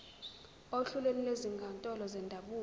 ohlelweni lwezinkantolo zendabuko